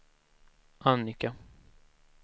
Annika